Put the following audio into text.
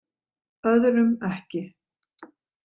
Öðrum ekki.